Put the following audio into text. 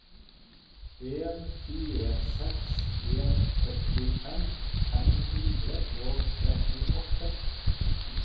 en fire seks en førtifem fem hundre og trettiåtte